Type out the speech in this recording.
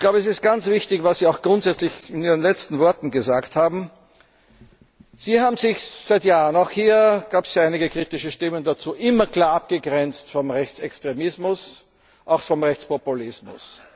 Es ist ganz wichtig, was Sie auch grundsätzlich in Ihren letzten Worten gesagt haben Sie haben sich seit Jahren auch hier gab es einige kritische Stimmen immer klar abgegrenzt vom Rechtsextremismus, auch vom Rechtspopulismus.